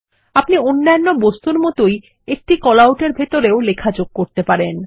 আপনি অন্যন্য বস্তুর মতই একটি কল আউট এর ভিতরেও লেখা যোগ করতে পারেন